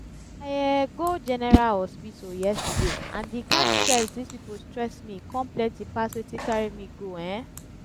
i um go general hospital yesterday and the kyn stress dis people stress me come plenty pass wetin carry me go um